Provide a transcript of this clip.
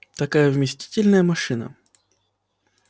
такая вместительная машина